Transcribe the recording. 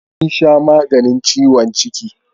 Sun sha maganin ciwon ciki.